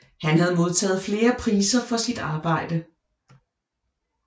Han har modtaget flere priser for sit arbejde